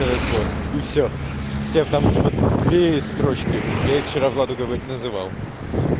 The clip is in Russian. хорошо и все тебе потому что вклеивать строчки я их вчера владу называл